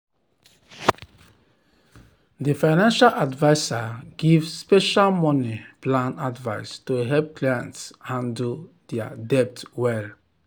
di financial adviser give special money plan advice to help clients handle dir debt well.